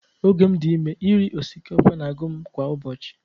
Oge m dị ime, iri osikapa na-agụ m kwa ụbọchị